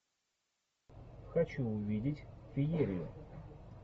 хочу увидеть феерию